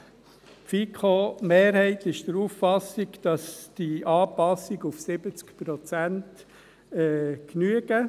Die FiKo-Mehrheit ist der Auffassung, dass die Anpassung auf 70 Prozent genügt.